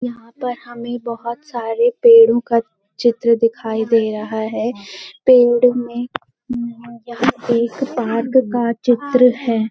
यहां पर हमें बहुत सारे पेड़ों का चित्र दिखाई दे रहा है पेड़ में हम्म यहाँ एक पार्क का चित्र है।